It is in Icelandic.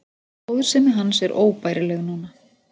Góðsemi hans er óbærileg núna.